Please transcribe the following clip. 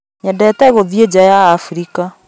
Nyendete gũthiĩ nja wa Abirika